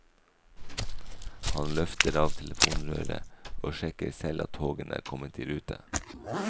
Han løfter av telefonrøret og sjekker selv at togene er kommet i rute.